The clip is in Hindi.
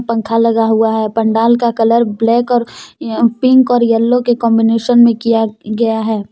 पंखा लगा हुआ हैं पंडाल का कलर ब्लैक और पिंक और येलो कांबिनेशन में किया गया हैं।